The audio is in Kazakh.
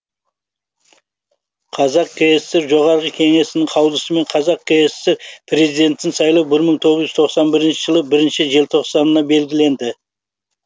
қазақ кср жоғарғы кеңесінің қаулысымен қазақ кср президентін сайлау бір мың тоғыз жүз тоқсан бірінші жылы бірінші желтоқсанына белгіленді